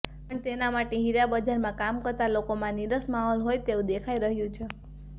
પણ તેના માટે હીરાબજારમાં કામ કરતા લોકોમાં નીરસ માહોલ હોય તેવું દેખાઈ રહ્યું છે